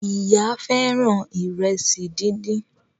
Ìyá fẹràn Ìrẹsí dín dín.